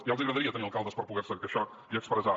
ja els agradaria tenir alcaldes per poder se queixar i expressar